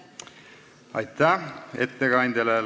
Aitäh ettekandjale!